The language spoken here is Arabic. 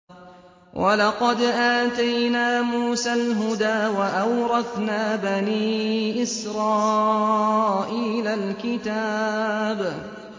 وَلَقَدْ آتَيْنَا مُوسَى الْهُدَىٰ وَأَوْرَثْنَا بَنِي إِسْرَائِيلَ الْكِتَابَ